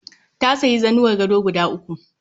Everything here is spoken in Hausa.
Na sayi zanuwar gado guda uku